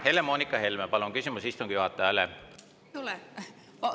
Helle-Moonika Helme, palun, küsimus istungi juhatajale!